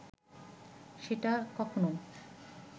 সেটা কখনও